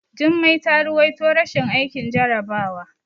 Jummai ta ruwaito rashin aikin jarabawa.